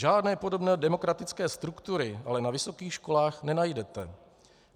Žádné podobné demokratické struktury ale na vysokých školách nenajdete.